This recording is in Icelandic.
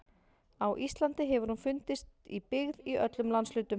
Á Íslandi hefur hún fundist í byggð í öllum landshlutum.